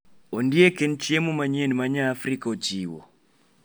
Ondiek en chiemo manyien ma nyafrika ochiwo